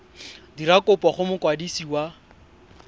dira kopo go mokwadisi wa